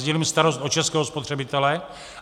Sdílím starost o českého spotřebitele.